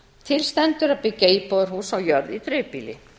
til stendur að byggja íbúðarhús á jörð í dreifbýli